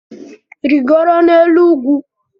Rigoro n'elu ugwu